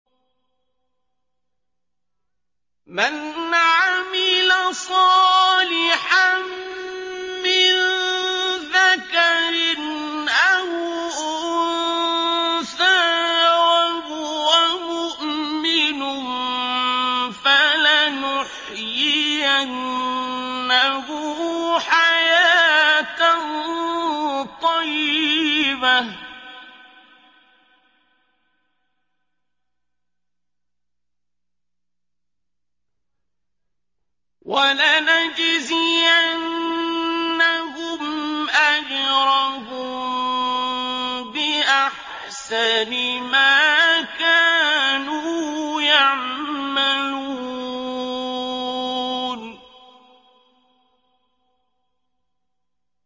مَنْ عَمِلَ صَالِحًا مِّن ذَكَرٍ أَوْ أُنثَىٰ وَهُوَ مُؤْمِنٌ فَلَنُحْيِيَنَّهُ حَيَاةً طَيِّبَةً ۖ وَلَنَجْزِيَنَّهُمْ أَجْرَهُم بِأَحْسَنِ مَا كَانُوا يَعْمَلُونَ